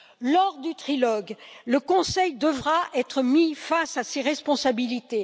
Lors du trilogue, le Conseil devra être mis face à ses responsabilités.